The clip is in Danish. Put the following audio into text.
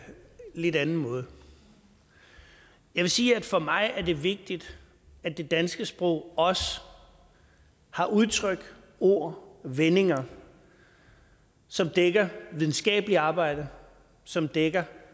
lidt anden måde jeg vil sige at for mig er det vigtigt at det danske sprog også har udtryk ord og vendinger som dækker videnskabeligt arbejde som dækker